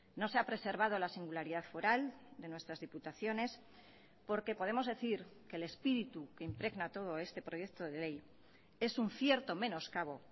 no se ha preservado la singularidad foral de nuestras diputaciones porque podemos decir que el espíritu que impregna todo este proyecto de ley es un cierto menoscabo